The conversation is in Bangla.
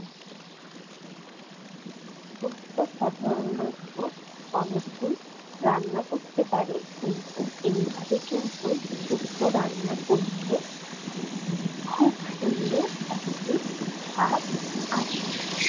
শুক্তো সাধারণত অনেকেই রান্না করতে পারে। কিন্তু, এইভাবে কিন্তু শুক্তো রান্না করলে খুব সুন্দর একটি স্বাদ আসবে।